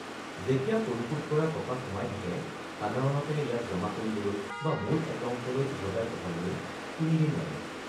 -যেতিয়া পৰিশোধ কৰা টকা সোমাই থাকে, সাধাৰণতে ইয়াক জমা কৰিবলৈ বা মূল একাউণ্টলৈ উভতাই পঠাবলৈ তিনিদিন লাগে।